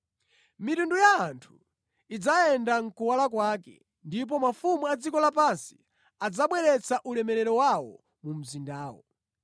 Mitundu ya anthu idzayenda mʼkuwala kwake ndipo mafumu a dziko lapansi adzabweretsa ulemerero wawo mu mzindamo.